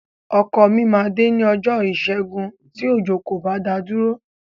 Ọkọ mi máa dé ní ọjọ́ Ìṣẹ́gun tí òjò kò bá dá a dúró.